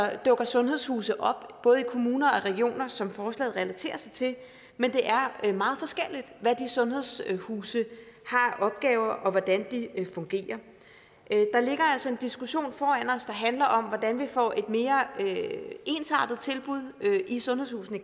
at der dukker sundhedshuse op både kommuner og regioner som forslaget relaterer sig til men det er meget forskelligt hvad de sundhedshuse har af opgaver og hvordan de fungerer der ligger altså en diskussion foran os der handler om hvordan vi får et mere ensartet tilbud i sundhedshusene